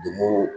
Donmo